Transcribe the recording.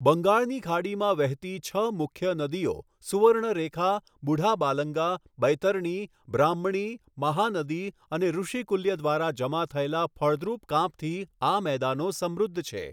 બંગાળની ખાડીમાં વહેતી છ મુખ્ય નદીઓ સુવર્ણરેખા, બુઢાબાલંગા, બૈતરણી, બ્રાહ્મણી, મહાનદી અને ઋષિકુલ્ય દ્વારા જમા થયેલા ફળદ્રુપ કાંપથી આ મેદાનો સમૃદ્ધ છે.